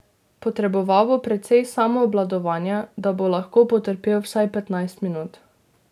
Potreboval bo precej samoobvladovanja, da bo lahko potrpel vsaj petnajst minut.